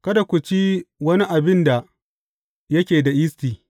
Kada ku ci wani abin da yake da yisti.